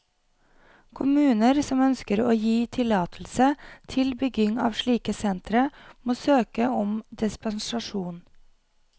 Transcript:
Kommuner som ønsker å gi tillatelse til bygging av slike sentre, må søke om dispensasjon.